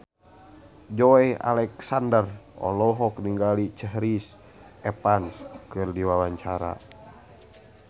Joey Alexander olohok ningali Chris Evans keur diwawancara